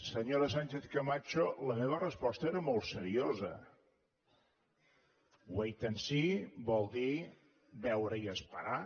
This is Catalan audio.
senyora sánchez camacho la meva resposta era molt seriosa wait and see vol dir veure i esperar